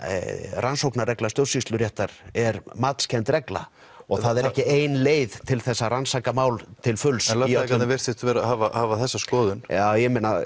rannsóknarregla stjórnsýsluréttar er matskennd regla og það er ekki ein leið til þess að rannsaka mál til fulls en lögfræðingarnir virtust hafa þessa skoðun já